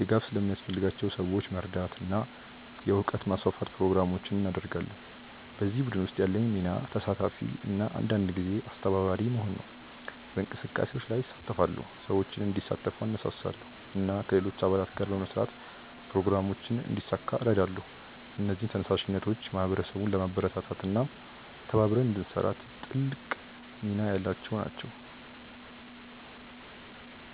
ድጋፍ ለሚያስፈልጋቸው ሰዎች መርዳት እና የእውቀት ማስፋፋት ፕሮግራሞችን እናደርጋለን። በዚህ ቡድን ውስጥ ያለኝ ሚና ተሳታፊ እና አንዳንድ ጊዜ አስተባባሪ መሆን ነው። በእንቅስቃሴዎች ላይ እሳተፋለሁ፣ ሰዎችን እንዲሳተፉ እነሳሳለሁ እና ከሌሎች አባላት ጋር በመስራት ፕሮግራሞችን እንዲሳካ እረዳለሁ። እነዚህ ተነሳሽነቶች ማህበረሰቡን ለማበረታታት እና ተባብረን እንድንሰራ ትልቅ ሚና ያላቸው ናቸው።